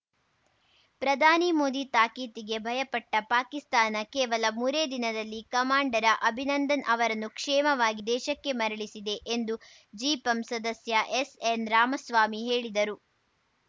ಪ್ರಧಾನಿ ಮೋದಿ ತಾಕೀತಿಗೆ ಭಯಪಟ್ಟಪಾಕಿಸ್ತಾನ ಕೇವಲ ಮೂರೇ ದಿನದಲ್ಲಿ ಕಮಾಂಡರ ಅಭಿನಂದನ್‌ ಅವರನ್ನು ಕ್ಷೇಮವಾಗಿ ದೇಶಕ್ಕೆ ಮರಳಿಸಿದೆ ಎಂದು ಜಿಪಂ ಸದಸ್ಯ ಎಸ್‌ಎನ್‌ ರಾಮಸ್ವಾಮಿ ಹೇಳಿದರು